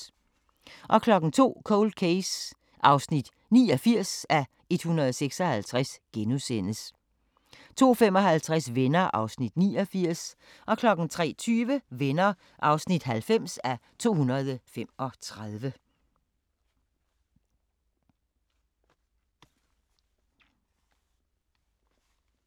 02:05: Cold Case (89:156)* 02:55: Venner (89:235) 03:20: Venner (90:235)